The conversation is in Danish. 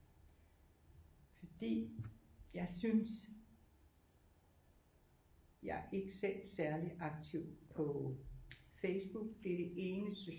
Fordi jeg synes jeg er ikke selv særlig aktiv på Facebook det er det eneste